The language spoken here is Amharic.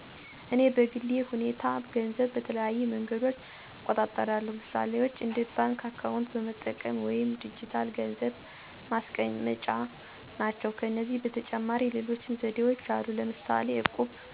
እኔ በግል ሁኔታ ገንዘብ በተለያዩ መንገዶች እቆጣጠራለሁ። ምሳሌዎች እንደ ባንክ አካውንት በመጠቀም ወይም ዲጂታል ገንዘብ ማስቀመጫ ናቸው። ከዚህ በተጨማሪ ሌሎች ዘዴዎች አሉ ለምሳሌ ዕቁብ። እኔ አብዛኛውን ጊዜ ደግሞ በባንክ ቁጥር ገንዘቤን እቆጠባለሁ።